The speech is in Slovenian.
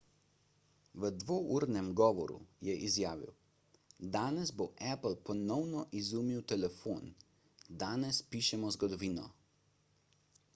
v dvournem govoru je izjavil danes bo apple ponovno izumil telefon danes pišemo zgodovino